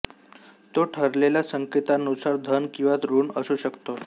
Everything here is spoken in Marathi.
तो ठरलेल्या संकेतानुसार धन किंवा ऋण असू शकतो